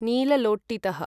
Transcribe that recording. नीललोट्टितः